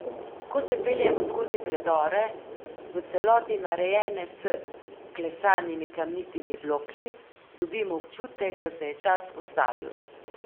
Ko se peljemo skozi predore, v celoti narejene s klesanimi kamnitimi bloki, dobimo občutek, da se je čas ustavil.